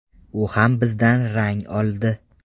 U ham bizdan ‘rang oldi’.